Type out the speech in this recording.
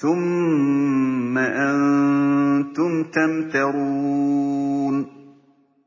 ثُمَّ أَنتُمْ تَمْتَرُونَ